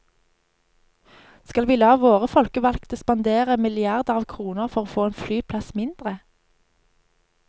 Skal vi la våre folkevalgte spandere milliarder av kroner for å få en flyplass mindre?